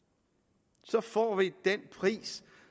så får vi den pris